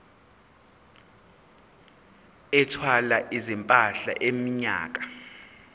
ethwala izimpahla iminyaka